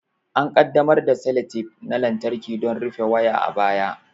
An ƙaddamar da seletep na lantarki don rufe waya a baya.